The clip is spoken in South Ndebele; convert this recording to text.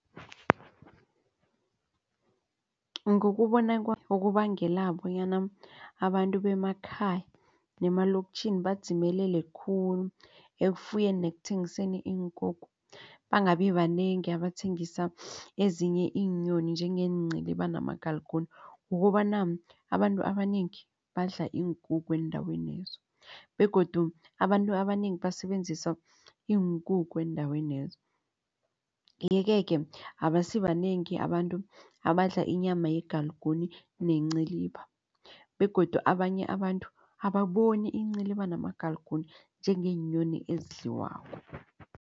Ngokubona kwami okubangela bonyana abantu bemakhaya nemalokitjhini badzimelele khulu ekufuyeni nekuthengiseni iinkukhu. Bangabi banengi abathengisa ezinye iinyoni njengeenciliba namagalgune kukobana abantu abanengi badla iinkukhu eendawenezo begodu abantu abanengi basebenzisa iinkukhu eendawenezo. Yeke-ke abasibanengi abantu abadla inyama yegalgune nenciliba begodu abanye abantu ababoni iinciliba namagalgune njengeenyoni ezidliwako.